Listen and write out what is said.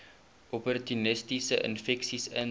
opportunistiese infeksies intree